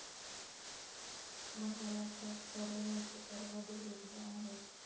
महाराष्ट्रात करोनाचे सर्वाधिक रुग्ण आहेत.